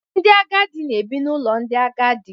Ndị agadi na-ebi n'ụlọ ndị agadi.